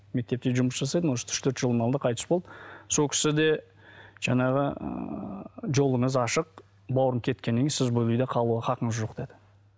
мектепте жұмыс жасайды может үш төрт жылдың алдында қайтыс болды сол кісі де жаңағы ыыы жолыңыз ашық бауырым кеткеннен кейін сіз бұл үйде қалуға хақыңыз жоқ деді